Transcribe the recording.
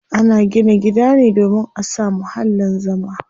Ana gina gida ne domin a samu muhallin zama.